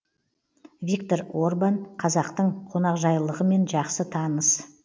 виктор орбан қазақтың қонақжайлылығымен жақсы таныс